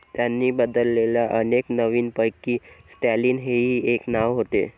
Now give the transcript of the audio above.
त्यांनी बदललेल्या अनेक नविनपैकी स्टॅलिन हेही एक नाव होते.